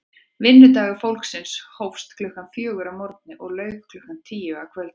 Vinnudagur fólksins hófst klukkan fjögur að morgni og lauk klukkan tíu að kvöldi.